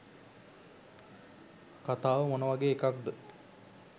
කතාව මොනවගේ එකක්ද